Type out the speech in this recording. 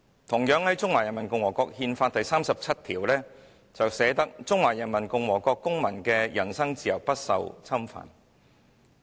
"同樣，《中華人民共和國憲法》第三十七條："中華人民共和國公民的人身自由不受侵犯。